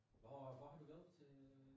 Hvor hvor har du været til øh?